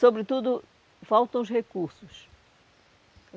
Sobretudo, faltam os recursos.